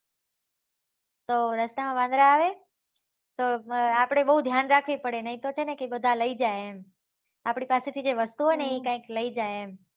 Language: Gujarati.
તો રસ્તા માં વાંદરા આવે તો આપળે બહુ ધ્યાન રાખવું પડે નહી તો છે ને બધા લઇ જાય એમ આપળી પાસે જે વસ્તુ હોય ને એ કાયિક લઇ જાય એમ